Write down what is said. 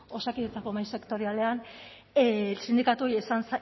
osakidetzako mahai sektorialean sindikatuei